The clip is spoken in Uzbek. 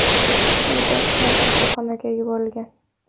U darhol kasalxonaga yuborilgan.